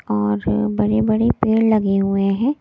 और बड़े-बड़े पेड़ लगे हुए हैं।